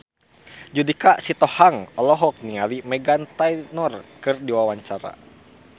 Judika Sitohang olohok ningali Meghan Trainor keur diwawancara